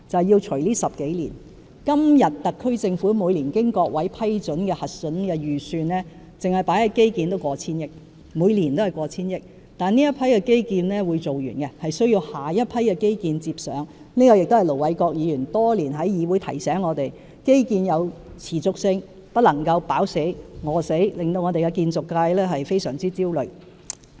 現時，特區政府每年經各位議員批准、核准的預算，單是投放於基建的數額已過千億元，每一年都過千億元，但這批基建是會完工的，有需要由下一批基建接上，這亦是盧偉國議員多年來在議會內提醒我們的一點，就是基建要有持續性，不能一時"飽死"、一時"餓死"，致令本港建造界感到非常焦慮。